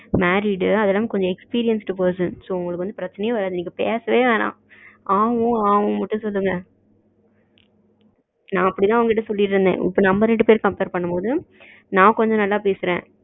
married அதுவும் இல்லாம experience person so உங்கள்ளுக்கு வந்து பிரச்சனையே வரத்து நீங்க பேசவே வேணாம் ஆ உம் ஆ உம் மட்டும் சொல்லுங்க நா அப்டிதா அவங்க கிட்ட சொல்லிட்டு இருந்தேன் இப்போ நம்ம ரெண்டு பேரு compare பண்ணும் போது நா கொஞ்சம் நல்லா பேசுறேன்